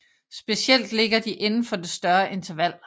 Specielt ligger de inden for det større interval